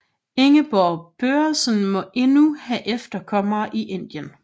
Ingeborg Børresen må endnu have efterkommere i Indien